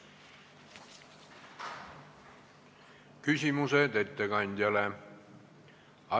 Küsimusi ettekandjale ei ole.